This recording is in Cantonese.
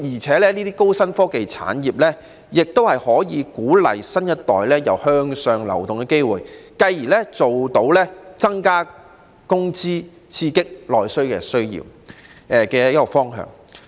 此外，高新科技產業可以為新一代提供向上流動的機會，繼而增加工資，刺激內需。